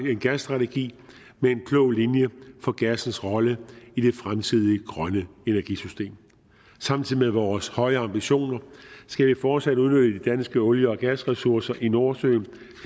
en gasstrategi med en klog linje for gassens rolle i det fremtidige grønne energisystem samtidig med vores høje ambitioner skal vi fortsat udnytte de danske olie og gasressourcer i nordsøen